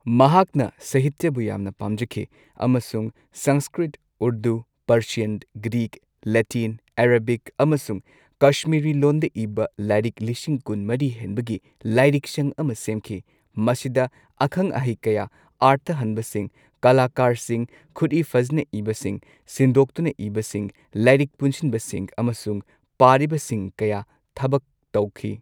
ꯃꯍꯥꯛꯅ ꯁꯍꯤꯇ꯭ꯌꯥꯕꯨ ꯌꯥꯝꯅ ꯄꯥꯝꯖꯈꯤ, ꯑꯃꯁꯨꯡ Sanskrit, Urdu, Persian, Greek, Latin, Arabic ꯑꯃꯁꯨꯡ ꯀꯁꯃꯤꯔꯤ ꯂꯣꯟꯗ ꯏꯕ ꯂꯥꯏꯔꯤꯛ ꯂꯤꯁꯤꯡ ꯀꯨꯟ ꯃꯔꯤ ꯍꯦꯟꯕꯒꯤ ꯂꯥꯏꯔꯤꯛꯁꯪ ꯑꯃ ꯁꯦꯝꯈꯤ, ꯃꯁꯤꯗ ꯑꯈꯪ ꯑꯍꯩ ꯀꯌꯥ, ꯑꯔꯊ ꯍꯟꯕꯁꯤꯡ, ꯀꯂꯥꯀꯥꯔꯁꯤꯡ, ꯈꯨꯠꯏ ꯐꯖꯅ ꯏꯕꯁꯤꯡ, ꯁꯤꯟꯗꯣꯛꯇꯨꯅ ꯏꯕꯁꯤꯡ, ꯂꯥꯏꯔꯤꯛ ꯄꯨꯟꯁꯤꯟꯕꯁꯤꯡ ꯑꯃꯁꯨꯡ ꯄꯥꯔꯤꯕꯁꯤꯡ ꯀꯌꯥ ꯊꯕꯛ ꯇꯧꯈꯤ꯫